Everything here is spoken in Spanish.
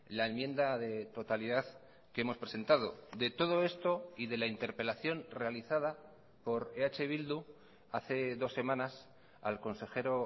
la enmienda de totalidad que hemos presentado de todo esto y de la interpelación realizada por eh bildu hace dos semanas al consejero